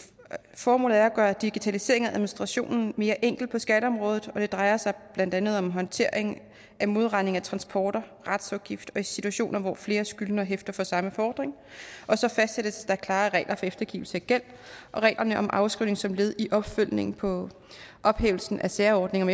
formålet er at gøre digitaliseringen og administrationen mere enkel på skatteområdet og det drejer sig blandt andet om håndtering af modregning ved transporter retsafgift og situationer hvor flere skyldnere hæfter for samme fordring og så fastsættes der klarere regler for eftergivelse af gæld og reglerne om afskrivning som led i opfølgningen på ophævelsen af særordningen